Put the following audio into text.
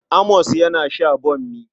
Amos yana sha bammi.